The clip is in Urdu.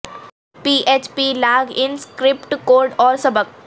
P H P log in script code اور سبق